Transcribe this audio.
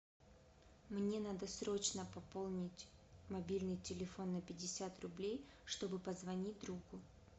мне надо срочно пополнить мобильный телефон на пятьдесят рублей чтобы позвонить другу